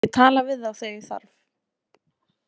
Ég tala við þá þegar ég þarf.